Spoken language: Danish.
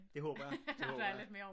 Det håber jeg det håber jeg